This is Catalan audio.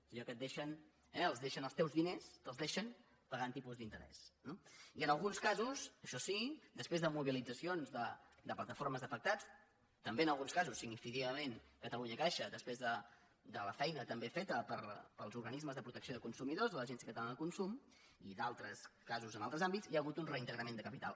és allò que et deixen eh els teus diners te’ls deixen pagant tipus d’interès no i en alguns casos això sí després de mobilitzaci·ons de plataformes d’afectats també en alguns casos significativament catalunyacaixa després de la fei·na també feta pels organismes de protecció de consu·midors de l’agència catalana del consum i d’altres casos en altres àmbits hi ha hagut un reintegrament de capital